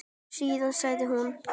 Síðan segir hún